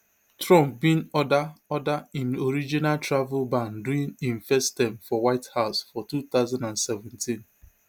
trump bin order order im original travel ban during im first term for white house for two thousand and seventeen